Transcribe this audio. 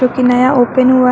ये नया ओपन हुआ--